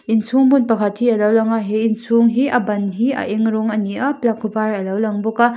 inchhung hmun pakhat hi alo lang a he inchhung hi a ban hi a eng rawng a ni a plug var alo lang bawk a--